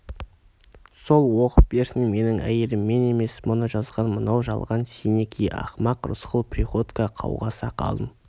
сол оқып берсін менің әйелім емес мұны жазған мынау жалған сеники ақмақ рысқұл приходько қауға сақалын